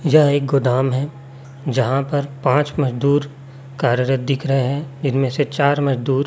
यह एक गोदाम है जहां पर पांच मजदूर कार्यत दिख रहे हैं इनमें से चार मजदूर--